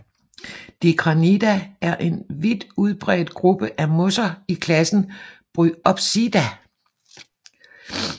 Dicranidae er en vidt udbredt gruppe af mosser i klassen Bryopsida